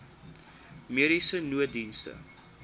mediese nooddienste